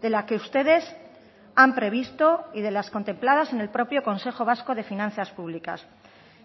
de la que ustedes han previsto y de las contempladas en el propio consejo vasco de finanzas publicas